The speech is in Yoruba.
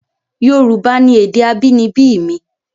Yorùbá ni èdè abínibí mi